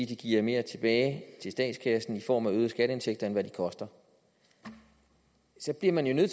de giver mere tilbage til statskassen i form af øgede skatteindtægter end de koster så bliver man jo